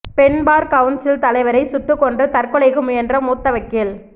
பெண் bar council தலைவரை சுட்டுக்கொன்று தற்கொலைக்கு முயன்ற மூத்த வக்கீல்